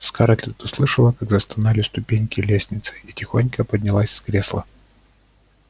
скарлетт услышала как застонали ступеньки лестницы и тихонько поднялась с кресла